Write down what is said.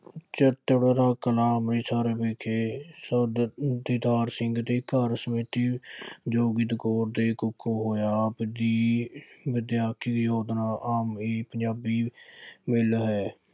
ਚਵਿੰਡਾ ਕਲਾਂ, ਅੰਮ੍ਰਿਤਸਰ ਵਿਖੇ ਸਰਦਾਰ ਦੀਦਾਰ ਸਿੰਘ ਦੇ ਘਰ ਸ਼੍ਰੀਮਤੀ ਜੋਗਿੰਦਰ ਕੌਰ ਦੇ ਕੁੱਖੋ ਹੋਇਆ। ਆਪ ਜੀ ਵਿੱਦਿਆ ਆਮ ਪੰਜਾਬੀ ਹੈ